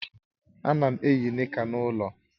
Ana m eyi nika n'ulo